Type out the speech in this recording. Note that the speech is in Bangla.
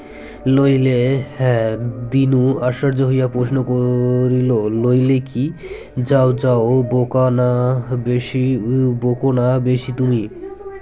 লইলে হ্যাঁ দীনু আশ্চর্য হইয়া প্রশ্ন ক-রিল লইলে কী যাওযাও ও বোকা না বেশি বোকোনা বেশি তুমি